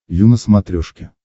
ю на смотрешке